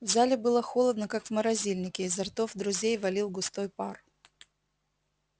в зале было холодно как в морозильнике изо ртов друзей валил густой пар